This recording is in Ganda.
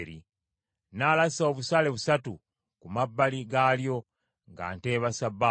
Nnaalasa obusaale busatu ku mabbali gaalyo, ng’ateeba ssabbaawa.